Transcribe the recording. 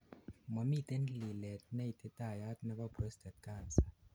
momiten lilet neititayat nebo prostate Cancer